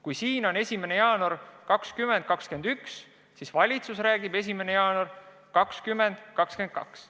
Kui siin on 1. jaanuar 2021, siis valitsus räägib 1. jaanuarist 2022.